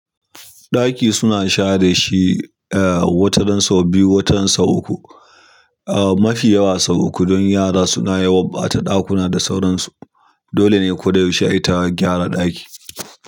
Ɗaki suna share shi, eh, wataran sau biyu wataran sau uku. Eh, mafi yawa sau uku don yara suna yawan ɓata ɗakuna da sauransu. Dole ne kodayaushe ayi ta gyara ɗaki.